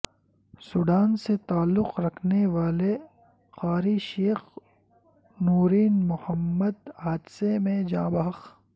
Sudan سے تعلق رکھنے والے قاری شیخ نورین محمد حادثے میں جاں بحق